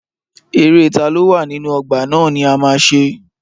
Eré taló wà nínú ọgbà ná ni a ma ṣe.